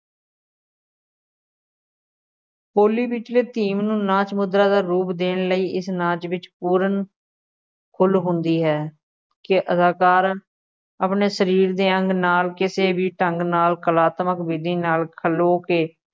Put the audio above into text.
ਹੌਲੀ ਵਿਚਲੇ ਨੂੰ ਨਾਚ ਮੁਦਰਾ ਦਾ ਰੂਪ ਦੇਣ ਲਈ ਇਸ ਨਾਚ ਵਿੱਚ ਪੂਰਨ ਖੁੱਲ੍ਹ ਹੁੰਦੀ ਹੈ ਕਿ ਅਦਾਕਾਰ ਆਪਣੇ ਸਰੀਰ ਦੇ ਅੰਗ ਨਾਲ ਕਿਸੇ ਵੀ ਢੰਗ ਨਾਲ ਕਲਾਤਮਕ ਵਿਧੀ ਨਾਲ ਖਲ੍ਹੋ ਕੇ